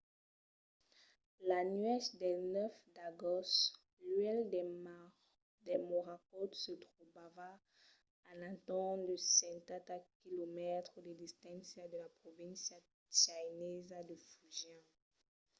la nuèch del 9 d’agost l'uèlh de morakot se trobava a l’entorn de setanta quilomètres de distància de la provincia chinesa de fujian